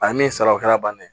A ye min sara o kɛra bannen